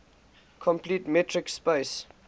complete metric space